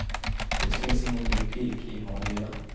Det finns ingen logik i vad de gör.